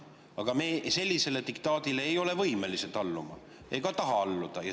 Aga meie sellisele diktaadile ei ole võimelised alluma ega taha alluda.